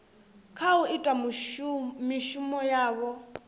kha u ita mishumo yavho